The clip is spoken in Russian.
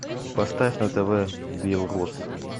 поставь на тв белрос